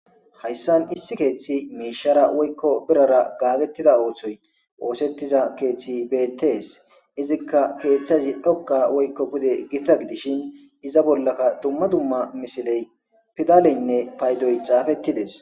Hayssan issi keeththi miishshara woykko birara gaagettida ooththoy oosetiza keeththi beettes. Izikka keethtahazi dhoqqa woykko pude gita gidishin iza bollaka dumma dumma misiley, pidaaleynne paydoy xaafeti dees.